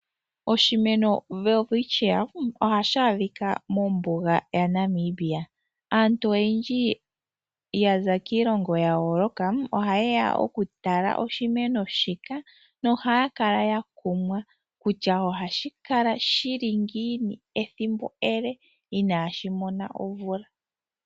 Oshimeno Welwitschia ohashi a dhika mombuga yaNamibia. Aantu oyendji ya za kiilongo yayooloka ohaye ya okutala oshimeno shika na ohaya kala ya kumwa kutya ohashi kala shili ngiini ethimbo e le i naashi mona omvula.